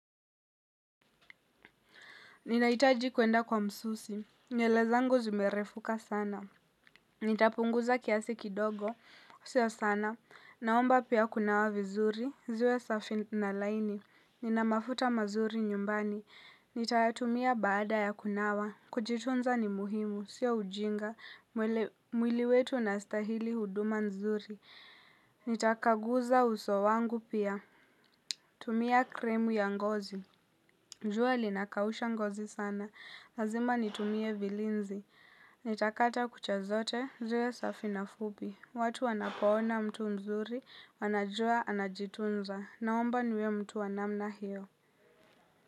Ninaitaji kuenda kwa msusi. Nywele zangu zimerefuka sana. Nitapunguza kiasi kidogo. Sio sana. Naomba pia kunawa vizuri. Ziwe safi na laini. Nina mafuta mazuri nyumbani. Nitayatumia baada ya kunawa. Kujitunza ni muhimu. Sio ujinga. Mwili wetu unastahili huduma nzuri. Nitakaguza uso wangu pia. Tumia cream ya ngozi. Jua linakausha ngozi sana, lazima nitumie vilinzi. Nitakata kucha zote, ziwe safi na fupi. Watu wanapaona mtu mzuri, wanajua anajitunza. Naomba niwe mtu wa namna hiyo.